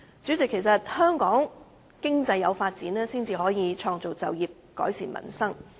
主席，香港經濟有所發展才可以創造就業，改善民生。